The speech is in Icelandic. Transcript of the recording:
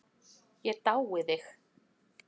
Ég dái þig.